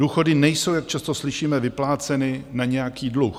Důchody nejsou, jak často slyšíme, vypláceny na nějaký dluh.